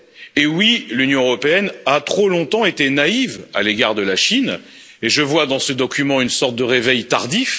Et oui, l'Union européenne a trop longtemps été naïve à l'égard de la Chine, et je vois dans ce document une sorte de réveil tardif.